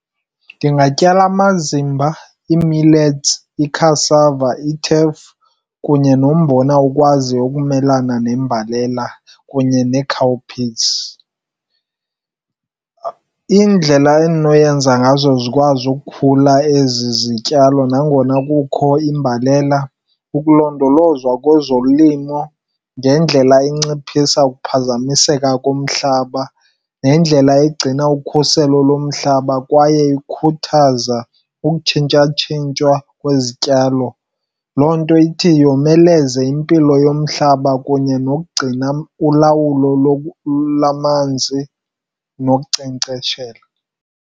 Ndingatyala amazimba, ii-millets, i-cassava, i-teff kunye nombona okwaziyo ukumelana nembalela kunye nee-cowpeas. Indlela endinoyenza ngazo zikwazi ukukhula ezi zityalo nangona kukho imbalela, ukulondolozwa kwezolimo ngendlela inciphisa uphazamiseka komhlaba nendlela egcina ukhuselo lomhlaba kwaye ikhuthaza ukutshintsha tshintsha kwezityalo. Loo nto ithi yomeleze impilo yomhlaba kunye nokugcina ulawulo lwamanzi nokunkcenkceshela.